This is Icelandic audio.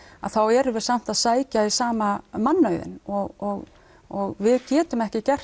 þá erum við samt að sækja í sama mannauðinn og og við getum ekki gert